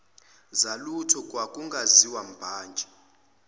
zalutho kwakungaziwa mbhantshi